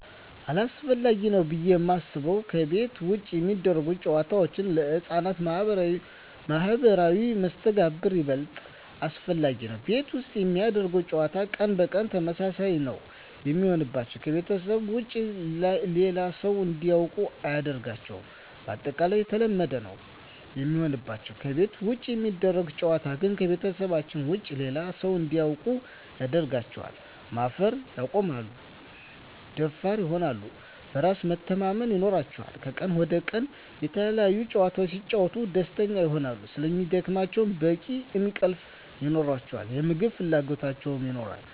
አሰፈላጊ ነው ብዬ የማስበው ከቤት ውጭ የሚደረጉ ጨዋታዎች ለህፃናት ማህበራዊ መስተጋብር ይበልጥ አስፈላጊ ነው። ቤት ውስጥ የሚደረግ ጨዋታ ቀን በቀን ተመሳሳይ ነው የሚሆንባቸው , ከቤተሰባቸው ውጭ ሌላ ሰው እንዲያውቁ አያደርጋቸውም ባጠቃላይ የተለመደ ነው የሚሆንባቸው። ከቤት ውጭ የሚደረግ ጨዋታ ግን ከቤተሰባቸው ውጭ ሌላ ሰው እንዲያውቁ ያደርጋቸዋል, ማፈር ያቆማሉ, ደፋር ይሆናሉ, በራስ መተማመን ይኖራቸዋል," ከቀን ወደ ቀን የተለያዪ ጨዋታዎች ሲጫወቱ ደስተኛ ይሆናሉ ስለሚደክማቸው በቂ እንቅልፍ ይኖራቸዋል, የምግብ ፍላጎት ይኖራቸዋል።